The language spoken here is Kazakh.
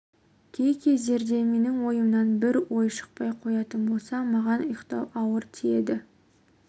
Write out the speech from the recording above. кей кездерде менің ойымнан бір ой шықпай қоятын болса маған ұйықтау ауыр тиеді